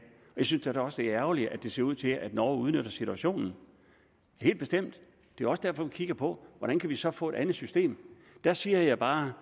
jeg synes da også det er ærgerligt at det ser ud til at norge udnytter situationen helt bestemt det er også derfor vi kigger på hvordan vi så kan få et andet system der siger jeg bare